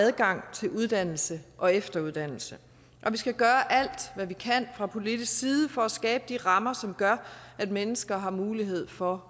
adgang til uddannelse og efteruddannelse og vi skal gøre alt hvad vi kan fra politisk side for at skabe de rammer som gør at mennesker har mulighed for